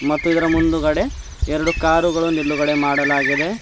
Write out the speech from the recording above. ಮತ್ತು ಇದರ ಮುಂದಗಡೆ ಎರಡು ಕಾರುಗಳು ನಿಲ್ಲುಗಡೆ ಮಾಡಲಾಗಿದೆ.